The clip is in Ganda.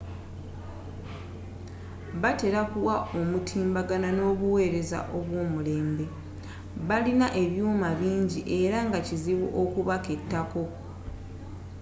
batera okuwa omutimbagano n’obuweereza obwomulembe . balina ebyuma bingi era nga kizibu okubaketako